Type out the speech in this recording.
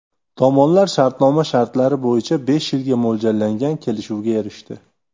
Tomonlar shartnoma shartlari bo‘yicha besh yilga mo‘ljallangan kelishuvga erishdi.